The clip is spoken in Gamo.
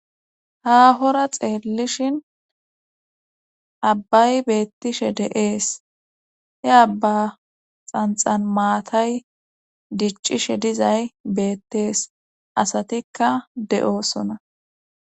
haahora xeellishin abbay beettishe deees he abba xanxan maatay diccishe dizay beettees asatikka de7oosona